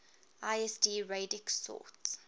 lsd radix sort